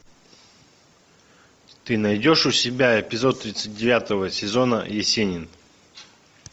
ты найдешь у себя эпизод тридцать девятого сезона есенин